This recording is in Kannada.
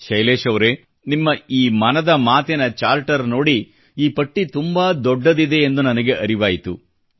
ಶೈಲೇಶ್ ಅವರೇ ನಿಮ್ಮ ಈ ಮನದ ಮಾತಿನ ಚಾರ್ಟರ್ ನೋಡಿ ಈ ಪಟ್ಟಿ ತುಂಬಾ ದೊಡ್ಡದಿದೆ ಎಂದು ನನಗೆ ಅರಿವಾಯಿತು